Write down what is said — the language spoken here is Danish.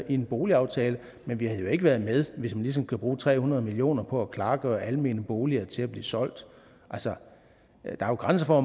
en boligaftale men vi havde jo ikke været med hvis man ligesom kan bruge tre hundrede million kroner på at klargøre almene boliger til at blive solgt altså der er jo grænser for